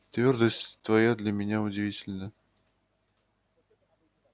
твёрдость твоя для меня удивительна